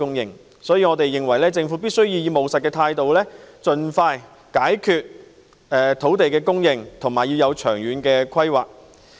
因此，我們認為政府必須以務實的態度盡快解決土地供應的問題，並作出長遠的規劃。